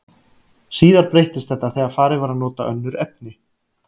Síðar breyttist þetta þegar farið var að nota önnur efni.